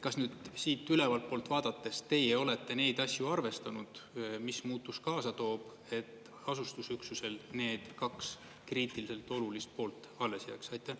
Kas nüüd siit ülevalt poolt vaadates teie olete neid asju arvestanud, mis muutus kaasa toob, et asustusüksusel need kaks kriitiliselt olulist poolt alles jääks?